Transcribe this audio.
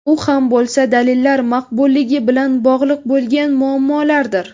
U ham bo‘lsa, dalillar maqbulligi bilan bog‘liq bo‘lgan muammolardir.